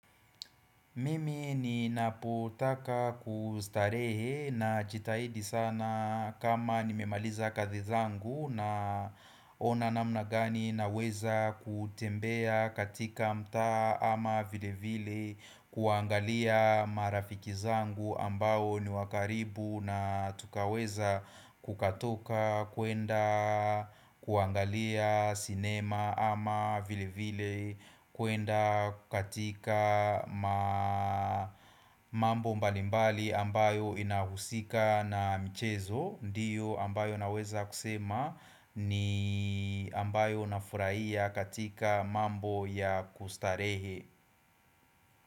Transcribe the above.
Mimi ninapotaka kustarehe najitahidi sana kama nimemaliza kazi zangu na ona namna gani naweza kutembea katika mtaa ama vile vile kuangalia marafiki zangu ambao ni wa karibu na tukaweza kukatoka kuenda kuangalia sinema ama vile vile kuenda katika mambo mbalimbali ambayo inahusika na mchezo Ndio ambayo naweza kusema ni ambayo nafurahia katika mambo ya kustarehe.